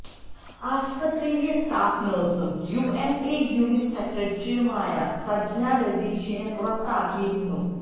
ആശുപത്രിയിലെ സ്റ്റാഫ് നഴ്സും U N A unit സെക്രട്ടറിയുമായ സജ്ന രതീഷിനെ പുറത്താക്കിയിരുന്നു